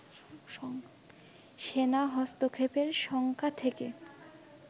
সেনা হস্তক্ষেপের শঙ্কা থেকে